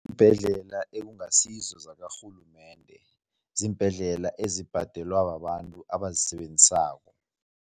Iimbhedlela ekungasizo zakarhulumende, ziimbhedlela ezibhadelwa babantu abazisebenzisako.